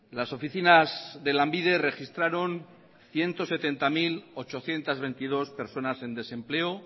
las oficinas de lanbide registraron ciento setenta mil ochocientos veintidós personas en desempleo